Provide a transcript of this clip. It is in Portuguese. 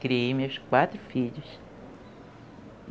Criei meus quatro filhos.